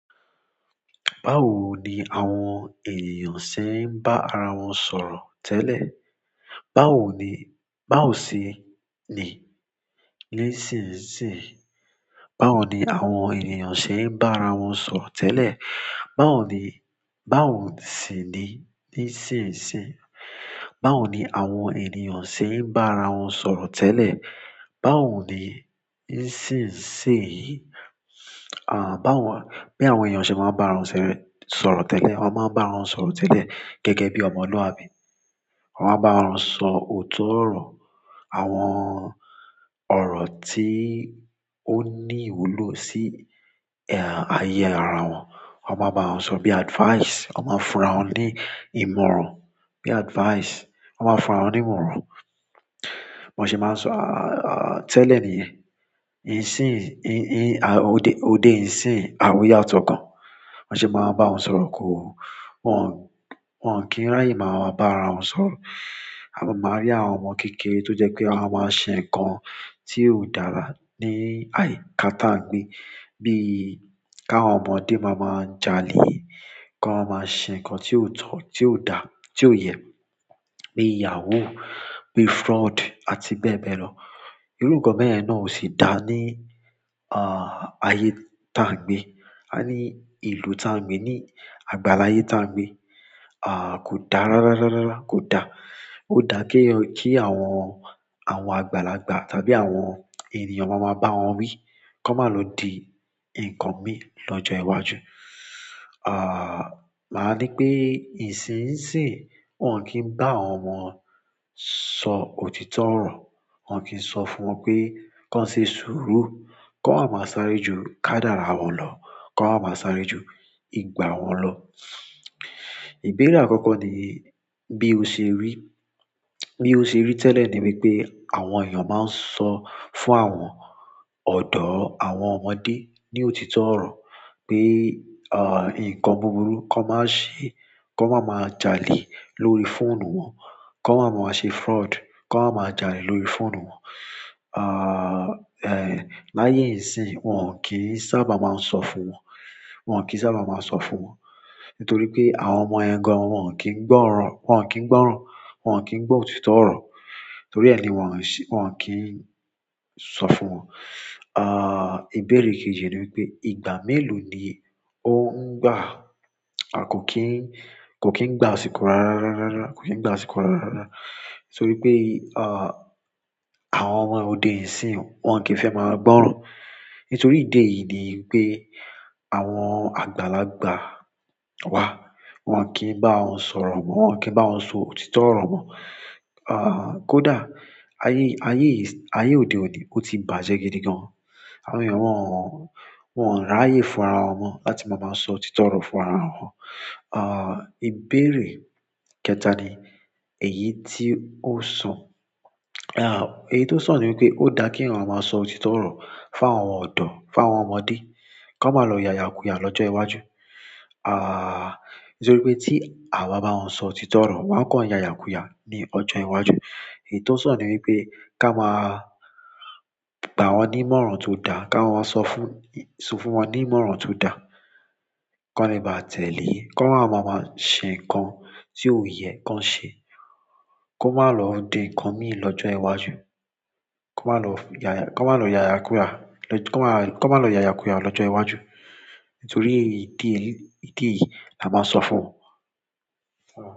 Báwo ni àwọn èeyàn ṣé ń bá ara wọn sọ̀rọ̀ tẹ́lẹ̀? Báwo ni, báwo sí ni nísinsìn? Báwo ni àwọn èeyàn ṣé ń bá ara wọn sọ̀rọ̀ tẹ́lẹ̀? Báwo ni, báwo sì ni nísinsìn? Báwo ni àwọn ènìyàn ṣé ń bá ara wọn sọ̀rọ̀ tẹ́lẹ̀? Báwo ni nísinsìnyí? Àh, báwo, bí àwọn èeyàn ṣe máa ń bá ara wọn sọ̀rọ̀ tẹ́lẹ̀? Wọ́n máa ń bá ara wọn sọ̀rọ̀ tẹ́lẹ̀ gẹ́gẹ́ bí ọmọlúàbí. Wọ́n máa ń bá ara wọn sọ òótọ́ ọ̀rọ̀. Àwọn ọ̀rọ̀ tí ó ní ìwúlò sí, ehn, ayé ara wọn. Wọ́n máa bá ara wọn sọ bí advice. Wọ́n máa fura wọn ní ìmọ̀ràn. Bí advice. Wọ́n máa ń fura wọn ní ìmọ̀ràn. Wọ́n se máa ń sọ, à, tẹ́lẹ̀ níyen, ìsìn, ì, òde ìsìn àimoye àwọn ti o kan. Ba se maa n ba won sọ̀rọ̀ ko, won, ki n raye maa ba ara won sọ̀rọ̀. A máa rí àwọn ọmọ kékeré tó jẹ́ pé a máa ṣe ǹkan tí óò dára ní, àì káta ǹ gbé. Bí i k'áwọn ọmọdé máa ma ń jalè. Ki wọn máa ṣe ǹkan tí ò tọ, tí ò dà, tí ò yẹ. Bíi ìyàwó, bíi fraud àti bẹ́ẹ̀ bẹ́ẹ̀ lọ. Irú nǹkan bẹ́yen na ò sì dá ní, ah, ayé táa ń gbé. A ní ìlú táa ń gbé, ní àgbàlyé táa ń gbé. Ah, kò dá rárá, rárá, kò dá ó dá kí àwọn, àwọn àgbàlagbà tàbí àwọn ènìyàn máa ma bá wọn wí kó má lọ di ǹkan mí lọ́jọ́ iwájú. Ah, màá ní pé ìsinsìn wọ́n ò kí ń bá àwọn ọmọ sọ òtítọ́ ọ̀rọ̀. Wọn ò kí ń sọ fún wọn pé sọ ṣe ṣùúrù. Ko maa ma sáré ju kadara won lo, ko maa ma sáré ju ìgbà won lo. Ìbéèrè àkọ́kọ́ ni bí o ṣe rí. Bí o ṣe rí tẹ́lẹ̀ ni wípé àwọn èeyàn máa ń sọ fún àwọn ọ̀dọ́, àwọn ọmọdé ní òtítọ́ ọ̀rọ̀ pé, ah, ǹkan búburú kó má ṣe, kó má má jalè lórí fóònù wọn. Kó máa má ṣe fraud. Kó má má jalè lórí fóònù wọn. Ah, ehn, laye isin, won ki n sábà ma so fún won. Won ki n sábà maa n so fún won nítorí pé àwọn ọmọ yẹn gan wọ́n ò kí ń gbọ́ran, wọn ò kí ń gbọ́ran, wọn ò kí ń gbọ́ òtítọ́ ọ̀rọ̀. Nítorí ẹ́ ni wọ́n se, wọ́n ò kí ń sọ fún wọn. Ah, ìbéèrè kejì ni wípé, ìgbà mélòó ni ó ń gbà? A kò kí ń, kò kí ń gbà asíkọ́ rárá, rárá, rárá. Kò kí ń gbà asíkọ́ rárá, rárá, rárá. Nítorí pé, ah, àwọn ọmọ òde ìsìn wọ́n ò kí ń fẹ́ máa gbọ́ran. Nítorí ìdí èyí ni pé àwọn àgbàlagbà wa wọ́n ò kí ń bá wọn sọ̀rọ̀ mọ́. Wọn ò kí ń bá wọn sọ òtítọ́ ọ̀rọ̀ mọ́. Ah, kò dá. Ayé, ayé òde òní ó ti bàjẹ́ gidi gan. Àwọn ènìyàn wọ́n ò r'áyè fún ara wọn mọ́ láti máa máa sọ òtítọ́ ọ̀rọ̀ fún ara wọn. Ah, ìbéèrè kẹta ni èyí tí ó sọ. Ah, èyí tó san ni wípé ó dá kí eeyan máa sọ òtítọ́ ọ̀rọ̀ fún àwọn ọ̀dọ́, fún àwọn ọmọdé. Kó má lọ ya'yàkúyà lọ́jọ́ iwájú. Ah, nítorí pé tí a bá bá wọn sọ òtítọ́ ọ̀rọ̀, wọn kò ya'yàkúyà ní ọjọ́ iwájú. Èyí tí ó sọ̀ ni wípé ká má gbà wọ́n ní ìmọ̀ràn tó dà. Ká wọ́n sọ fún, sọ fún wọn ní ìmọ̀ràn tó dà. Kó le bá tẹ̀lé. Kó máa máa má ṣe ǹkan tí ò yẹ kó ṣe. Kó má lọ di ǹkan mí lọ́jọ́ iwájú. Kó má lọ ya, kó má lọ ya'yàkúyà. Kó má, kó má lọ ya'yàkúyà lọ́jọ́ iwájú. Nítorí ìdí èyí, ìdí èyí, la máa sọ fún wọn.